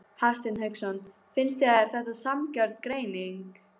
Hafsteinn Hauksson: Finnst þér þetta sanngjörn greining?